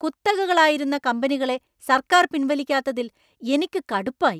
കുത്തകകളായിരുന്ന കമ്പനികളെ സർക്കാർ പിൻവലിക്കാത്തതിൽ എനിക്കു കടുപ്പായി.